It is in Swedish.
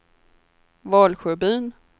Valsjöbyn